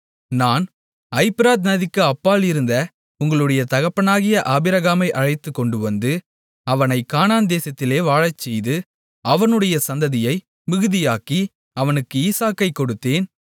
நான் ஐபிரத் நதிக்கு அப்பால் இருந்த உங்களுடைய தகப்பனாகிய ஆபிரகாமை அழைத்துக்கொண்டுவந்து அவனைக் கானான்தேசத்திலே வாழச்செய்து அவனுடைய சந்ததியை மிகுதியாக்கி அவனுக்கு ஈசாக்கைக் கொடுத்தேன்